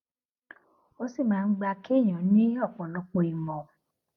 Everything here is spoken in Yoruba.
ó sì máa ń gba kéèyàn ní òpòlọpò ìmọ